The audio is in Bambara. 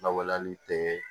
Lawaleli tɛ